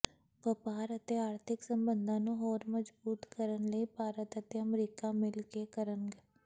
ਵਪਾਰ ਅਤੇ ਆਰਥਿਕ ਸਬੰਧਾਂ ਨੂੰ ਹੋਰ ਮਜ਼ਬੂਤ ਕਰਨ ਲਈ ਭਾਰਤ ਅਤੇ ਅਮਰੀਕਾ ਮਿਲ ਕੇ ਕਰਨਗ